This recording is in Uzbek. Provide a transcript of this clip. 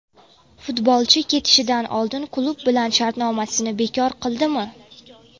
Futbolchi ketishidan oldin klub bilan shartnomasini bekor qildimi?